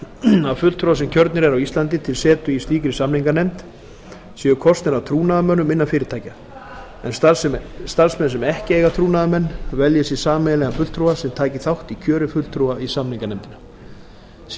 frumvarpinu að fulltrúar sem kjörnir eru á íslandi til setu í slíkri samninganefnd séu kosnir af trúnaðarmönnum innan fyrirtækja en starfsmenn sem ekki eiga trúnaðarmann velji sér sameiginlegan fulltrúa sem taki þátt í kjöri fulltrúa í samninganefndina séu